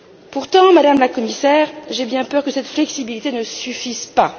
Pourtant, Madame la Commissaire, j'ai bien peur que cette flexibilité ne suffise pas.